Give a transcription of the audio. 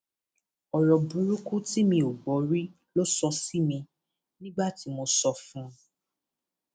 ọrọ burúkú tí mi ò gbọ rí ló sọ sí mi nígbà tí mo sọ fún un